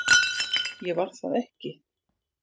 Ég var það ekki